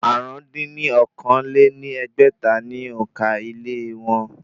Àrún dín ní okòó-lé-ní-ẹgbẹ́ta ni òǹkà ilé wọn